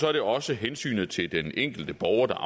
er der også hensynet til den enkelte borger der